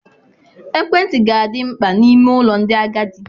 Ekwentị ga-adị mkpa n'ime ụlọ ndị agadi.